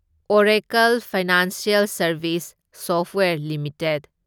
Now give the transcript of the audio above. Oracle financial services software limited